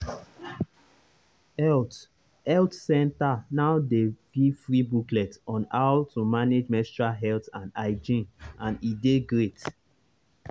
health health center now dey give free booklet on how to manage menstrual health and hygiene and e dey great.